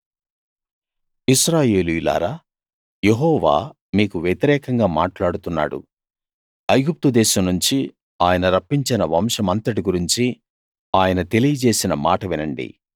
ఇశ్రాయేలీయులారా యెహోవా మీకు వ్యతిరేకంగా మాట్లాడుతున్నాడు ఐగుప్తుదేశం నుంచి ఆయన రప్పించిన వంశమంతటి గురించి ఆయన తెలియజేసిన మాట వినండి